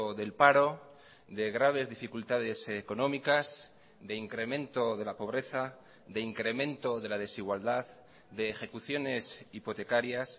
del paro de graves dificultades económicas de incremento de la pobreza de incremento de la desigualdad de ejecuciones hipotecarias